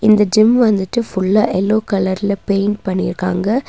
இந்த ஜிம் வந்துட்டு ஃபுல்லா எல்லோ கலர்ல பெயிண்ட் பண்ணிருக்காங்க.